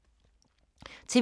TV 2